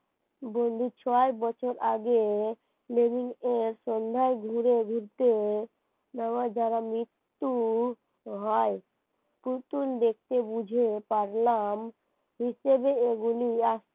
ছয় বছর আগে marine এর সন্ধ্যায় ঘুরে ঘুরতে নেওয়াই যারা মৃত্যু হয় অতুল দেখে বুঝে পারলাম হিসেবে এইগুলি